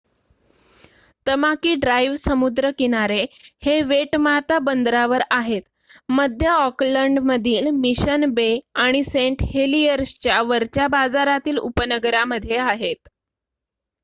Tamaki Drive समुद्रकिनारे हे Waitemata बंदरावर आहेत मध्य ऑकलंड मधील मिशन बे आणि सेंट हेलीयर्स च्या वरच्या बाजारातील उपनगरा मध्ये आहेत